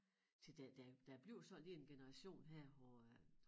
Til der der der bliver sådan lige en generation her hvor at